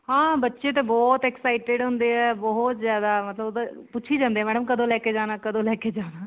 ਹਾਂ ਬੱਚੇ ਤਾਂ ਬਹੁਤ excited ਹੁੰਦੇ ਆ ਬਹੁਤ ਜਿਆਦਾ ਮਤਲਬ ਉਹ ਤਾਂ ਪੁੱਛੀ ਜਾਂਦੇ ਆ madam ਕਦੋਂ ਲੈਕੇ ਜਾਣਾ ਕਦੋਂ ਲੈਕੇ ਜਾਣਾ